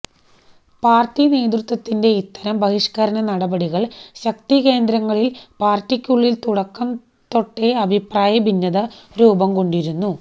party നേതൃത്വത്തിന്റെ ഇത്തരം ബഹിഷ്ക്കരണ നടപടികള് ശക്തി കേന്ദ്രങ്ങളില് പാര്ട്ടിക്കുളളില് തുടക്കം തൊട്ടെ അഭിപ്രായ ഭിന്നത രൂപം കൊണ്ടിരുന്നു